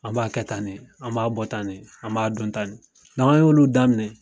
An b'a kɛ tan de, an b'a bɔ tan de , an b'a dɔn tan de . N'an ye olu daminɛ